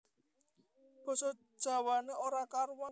Basa Jawané ora karuwan